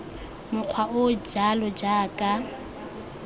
mokgwa o o jalo jaaka